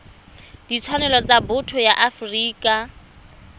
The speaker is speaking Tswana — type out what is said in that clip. ditshwanelo tsa botho ya afrika